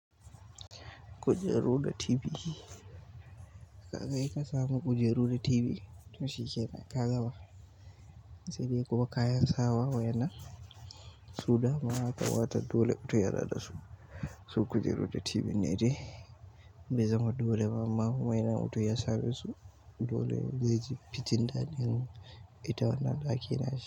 Kujeru da TV. Ya kai ka samu kujeru da TV to shi kenan ka gaba. Sai dai kuma kayan sawa waƴannan so dama yakamata dole mutum ya na da su. Su kujeru da TV ne dai, bai zama dole ba amma kuma idan mutum yasa me su. Dole zai ji fitin daɗi ita wanan ɗaki na shi.